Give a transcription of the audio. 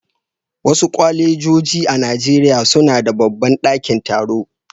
Wasu kwalejoji a Najeriya suna da babban dakin taro.